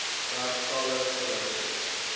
dek talle verhoudings